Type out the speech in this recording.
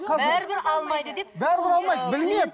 бәрібір алмайды деп